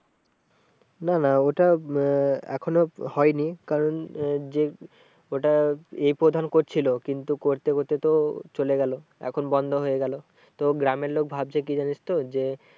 না না ওটা আহ এখনো হয়নি কারণ আহ যে ওটা এ প্রধান করছিলো কিন্তু করতে করতে তো চলে গেলো এখন বন্ধ হয়ে গেলো। তো গ্রামের লোক ভাবছে কি জানিস তো যে